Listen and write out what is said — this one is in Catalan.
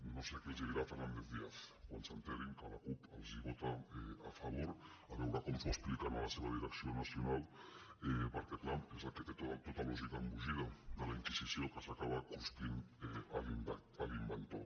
no sé què els dirà fernández díaz quan s’assabenti que la cup els vota a favor a veure com ho expliquen a la seva direcció nacional perquè clar és el que té tota lògica embogida de la inquisició que s’acaba cruspint l’inventor